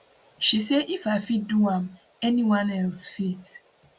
she say if i fit do am anyone else fit